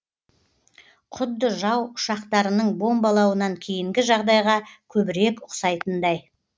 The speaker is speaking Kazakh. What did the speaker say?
құдды жау ұшақтарының бомбалауынан кейінгі жағдайға көбірек ұқсайтындай